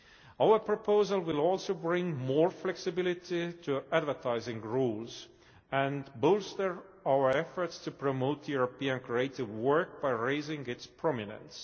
Our proposal will also bring more flexibility to advertising rules, and bolster our efforts to promote European creative work by raising its prominence.